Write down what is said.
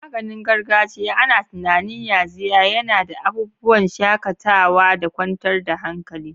Maganin gargajiya ana tunanin yaxiya yana da abubuwan shakatawa da kwantar da hankali.